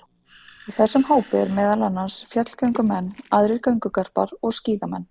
Í þessum hópi eru meðal annars fjallgöngumenn, aðrir göngugarpar og skíðamenn.